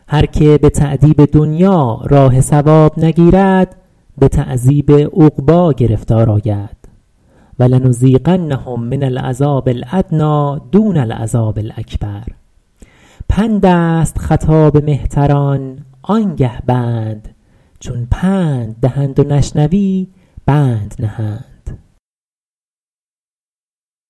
هر که به تأدیب دنیا راه صواب نگیرد به تعذیب عقبی گرفتار آید ولنذیقنهم من العذاب الأدنی دون العذاب الأکبر پند است خطاب مهتران آن گه بند چون پند دهند و نشنوی بند نهند